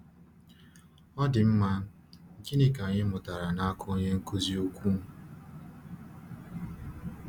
Ọ dị mma, gịnị ka anyị mụtara n’aka Onye Nkuzi Ukwu?